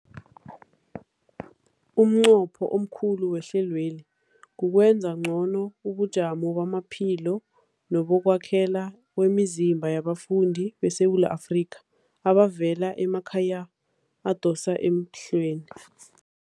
Umnqopho omkhulu wehlelweli kukwenza ngcono ubujamo bamaphilo nebokwakhela kwemizimba yabafundi beSewula Afrika abavela emakhaya adosa emhlweni.